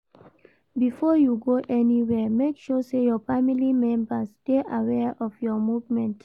Before you go anywhere make sure say your family members dey aware of your movement